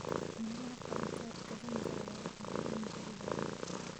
Meelaha qaarkood, kalluunka ayaa u baahan in la ilaaliyo.